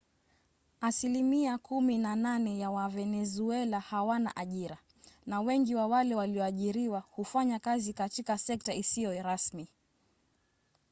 asilimia kumi na nane ya wavenezuela hawana ajira na wengi wa wale walioajiriwa hufanya kazi katika sekta isiyo rasmi